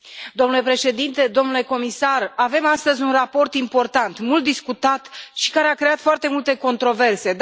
Domnule președinte, domnule comisar, avem astăzi un raport important, mult discutat și care a creat foarte multe controverse.